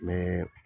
Mɛ